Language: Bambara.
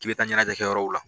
K'i bɛ taa ɲɛnajɛ kɛ yɔrɔw la